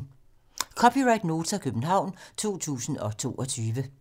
(c) Nota, København 2022